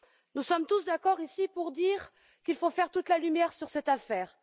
Nous sommes tous d'accord ici pour dire qu'il faut faire toute la lumière sur cette affaire.